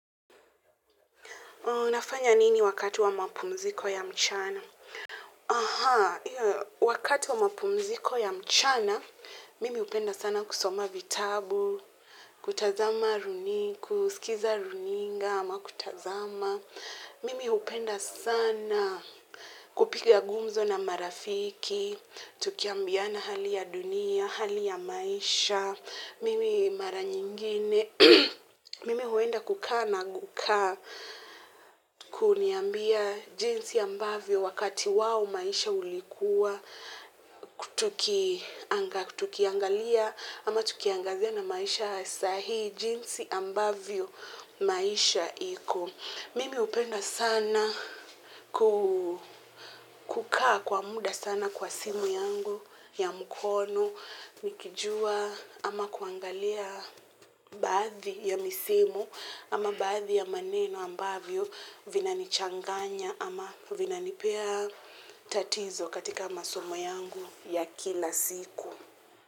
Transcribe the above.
Unafanya nini wakati wa mapumziko ya mchana? Aha, wakati wa mapumziko ya mchana, mimi hupenda sana kusoma vitabu, kutazama runinga, kusikiza runinga ama kutazama. Mimi hupenda sana kupiga gumzo na marafiki, tukiambiana hali ya dunia, hali ya maisha, mimi mara nyingine. Mimi huenda kukaa na guka kuniambia jinsi ambavyo wakati wao maisha ulikuwa, tukiangalia ama tukiangazia na maisha ya saa hii jinsi ambavyo maisha iko. Mimi hupenda sana kukaa kwa muda sana kwa simu yangu ya mkono, nikijua ama kuangalia baadhi ya misimu ama baadhi ya maneno ambavyo vinanichanganya ama vinanipea tatizo katika masomo yangu ya kila siku.